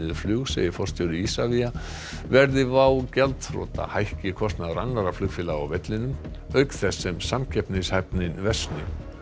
flug segir forstjóri Isavia verði WOW gjaldþrota hækki kostnaður annarra flugfélaga á vellinum auk þess sem samkeppnishæfnin versni